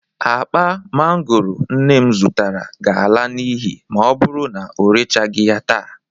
Akpa mangooro nne m zụtara ga-ala n'ihi ma ọ bụru na o rechagị ya taa.